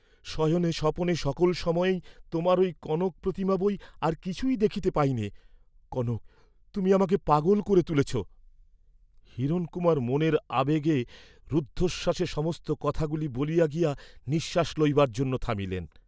"শয়নে স্বপনে সকল সময়েই তোমার ঐ কনক প্রতিমা বৈ আর কিছুই দেখিতে পাইনে, কনক তুমি আমাকে পাগল করে তুলেছ," হিরণকুমার মনের আবেগে রুদ্ধশ্বাসে সমস্ত কথাগুলি বলিয়া গিয়া নিঃশ্বাস লইবার জন্য থামিলেন।